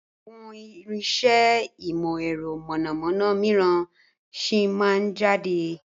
Àwọn irinsẹ́ ìmọ̀ ẹ̀rọ mọ̀nàmọ́ná míràn sì máa jáde